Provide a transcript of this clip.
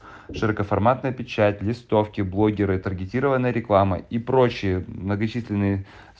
широкоформатная печать листовки блогеры таргетированная реклама и прочие многочисленные